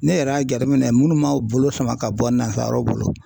Ne yɛrɛ y'a jateminɛ minnu ma u bolo sama ka bɔ nazaraw bolo.